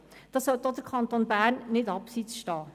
Dabei sollte auch der Kanton Bern nicht abseits stehen.